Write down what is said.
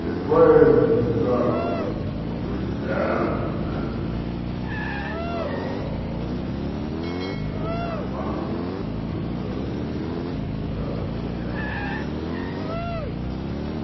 Depois, os homens o arroz foi acabando, acabando, arroz e arroz e arroz.